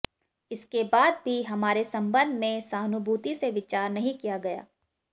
इसके बाद भी हमारे संबंध में सहानुभूति से विचार नहीं किया गया